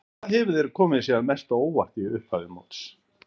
Hvað hefur komið þér mest á óvart í upphafi móts?